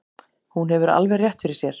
Hún hefur alveg rétt fyrir sér.